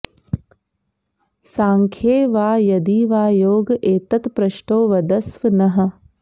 सांख्ये वा यदि वा योग एतत्पृष्टो वदस्व नः